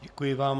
Děkuji vám.